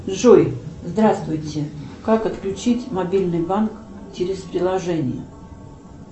джой здравствуйте как отключить мобильный банк через приложение